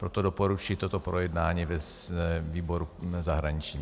Proto doporučuji toto projednání ve výboru zahraničním.